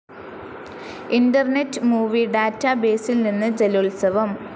internet movie ഡാറ്റാബേസിൽ നിന്ന് ജലോത്സവം